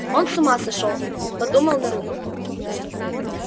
он с ума сошёл подумал нарумов